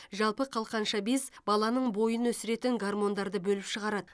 жалпы қалқанша без баланың бойын өсіретін гармондарды бөліп шығарады